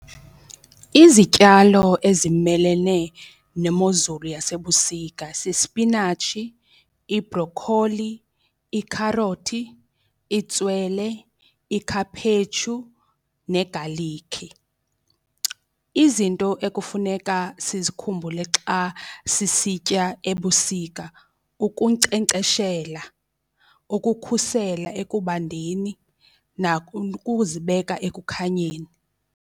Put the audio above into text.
Izityalo ezimelene nemozulu yasebusika sispinatshi, ibrokholi, iikharothi, itswele, ikhaphetshu, negalikhi. Izinto ekufuneka sizikhumbule xa sisitya ebusika ukunkcenkceshela, ukukhusela ekubandeni, ukuzibeka ekukhanyeni.